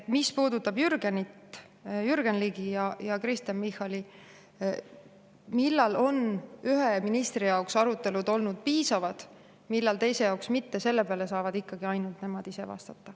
Mis puudutab Jürgen Ligi ja Kristen Michalit, et millal on ühe ministri jaoks arutelud olnud piisavad, millal teise jaoks mitte, sellele saavad ikkagi ainult nemad ise vastata.